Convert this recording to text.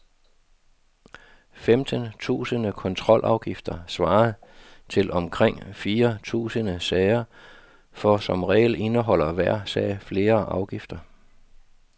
Femten tusinde kontrolafgifter svarer til omkring fire tusinde sager, for som regel indeholder hver sag flere afgifter.